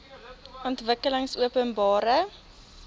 ontwikkelingopenbare